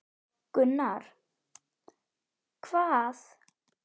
Gunnar: Hvað?